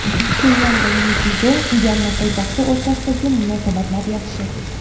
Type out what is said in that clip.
Pxenyan va Neypido (Myanma poytaxti) o‘rtasidagi munosabatlar yaxshi.